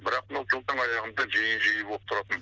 бірақ мына жылдың аяғында жиі жиі болып тұратын